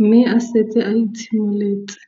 mme a setse a itshimoletse